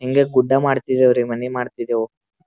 ಹಿಂಗೇ ಗುಡ್ಡ ಮಾಡ್ತಿದಿವಿ ರೀ ಮನೆ ಮಾಡ್ತಿದೇವ್--